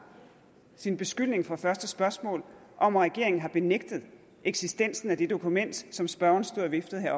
sin beskyldning fra det første spørgsmål om at regeringen har benægtet eksistensen af det dokument som spørgeren stod og viftede med